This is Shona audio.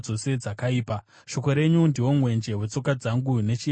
Shoko renyu ndiwo mwenje wetsoka dzangu, nechiedza chenzira yangu.